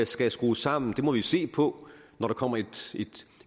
skal skrues sammen må vi jo se på når der kommer